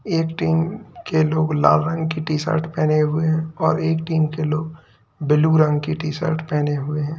एक टीम के लोग लाल रंग की टी-शर्ट पहने हुए हैं और एक टीम के लोग ब्लू रंग की टी-शर्ट पहने हुए हैं।